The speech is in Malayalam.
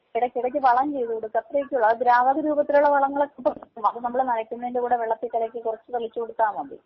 ഇടയ്ക്കിടയ്ക്ക് വളം ചെയ്ത് കൊടുക്കുക അത്രയെക്കെ ഉള്ളു അത് ദ്രാവക രൂപത്തിലുള്ള വളങ്ങളൊക്കെ ഇപ്പൊ കിട്ടും അത് നമ്മള് നനയ്ക്കുന്നതിന്റെ കൂടെ വെള്ളത്തി കലക്കി കുറച്ച് തളിച്ച് കൊടുത്താൽ മതി.